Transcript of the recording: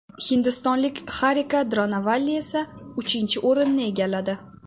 Hindistonlik Xarika Dronovalli esa uchinchi o‘rinni egalladi.